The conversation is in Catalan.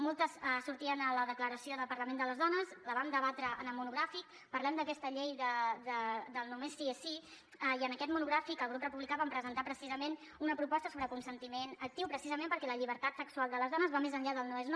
moltes sortien a la declaració del parlament de les dones la vam debatre en el monogràfic parlem d’aquesta llei del només sí és sí i en aquest monogràfic el grup republicà vam presentar precisament una proposta sobre consentiment actiu precisament perquè la llibertat sexual de les dones va més enllà del no és no